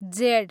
Z